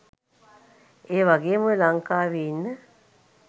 ඒවගේම ඔය ලංකාවේ ඉන්න